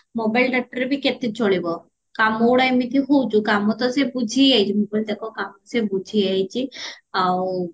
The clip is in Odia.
ମୋବାଇଲ data ବି କେତେ ଚଳିବ କାମ ଗୁଡା ଏମିତି ହଉଚି କାମ ଗୁଡା ତ ସିଏ ବୁଝି ଯାଇଚି ମୁଁ କହିଲି ଦେଖା କାମ ସିଏ ବୁଝିଯାଇଚି ଆଉ